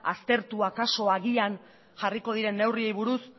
aztertu akaso agian jarriko diren neurriei buruz